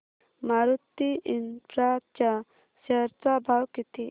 Maruti infra च्या share चा भाव किती